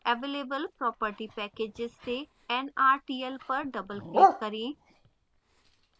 available property packages से nrtl पर doubleclick करें